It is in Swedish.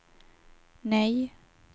nej